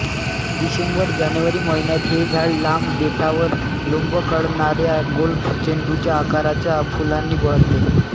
डिसेंबरजानेवारी महिन्यात हे झाड लांब देठावर लोंबकळणाऱ्या गोल्फ चेंडूच्या आकाराच्या फुलांनी बहरते